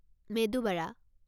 medu Bora